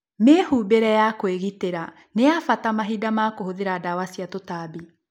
Mĩhumbĩre ya kwĩgitĩra nĩ ya bata mahinda ma kũhũthira ndawa cia tũtambi.